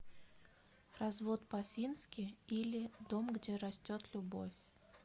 развод по фински или дом где растет любовь